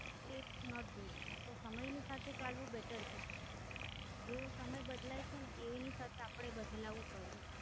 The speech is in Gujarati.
It's Not Good, તો સમય ની સાથે ચાલવું Better છ્ર, જેવો સમય બદલાય છે એની સાથે અપને બદલાવું પડે.